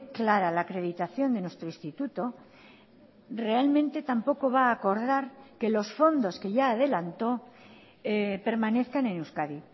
clara la acreditación de nuestro instituto realmente tampoco va a acordar que los fondos que ya adelantó permanezcan en euskadi